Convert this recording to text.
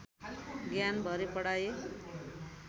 ज्ञान भरी पढाइ